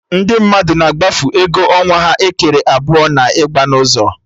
Ndị mmadụ na-agbafu ego ọnwa ha ekere abụọ na ịgba n'ụzọ